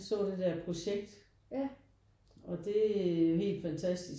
Jeg så det der projekt og det er jo helt fantastisk